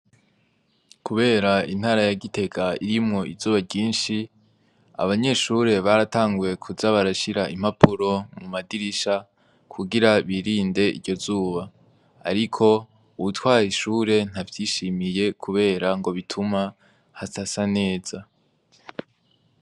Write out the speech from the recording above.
Kubera intara ya gitega irimwo izuba ryishi abanyeshure baratanguye kuza barashira impapuro mu madirisha kugira birinde iryo zuba ariko uwutwara ishure nta vyishimiye kubera ngo bituma hadasa neza.